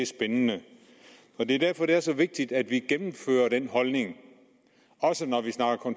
spændende det er derfor det er så vigtigt at vi gennemfører den holdning også når vi snakker